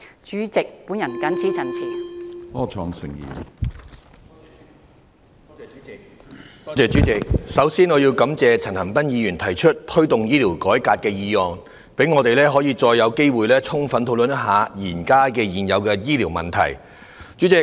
主席，我首先感謝陳恒鑌議員動議"推動醫療改革"議案，讓我們有機會充分討論現存的醫療問題。